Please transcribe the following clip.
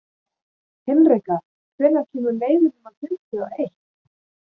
Hinrika, hvenær kemur leið númer fimmtíu og eitt?